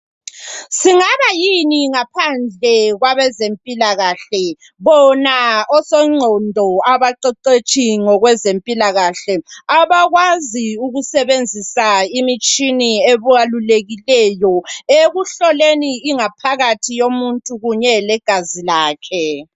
Singaba yini ngaphandle kwabezempilakahle bona osongqondo, abaqeqetshi ngezempilakahle abakwazi ukusebenzisa imitshina ebalulekileyo ekuhloleni ingaphakathi yomuntu kunye legazi lakhe.